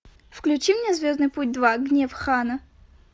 включи мне звездный путь два гнев хана